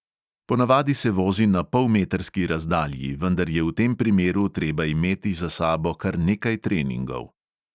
Ponavadi se vozi na polmetrski razdalji, vendar je v tem primeru treba imeti za sabo kar nekaj treningov.